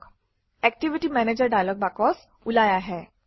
activity manager dialog box ওলাই আহে